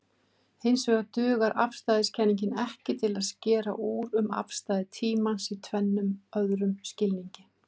Hinsvegar dugar afstæðiskenningin ekki til að skera úr um afstæði tímans í tvennum öðrum skilningi.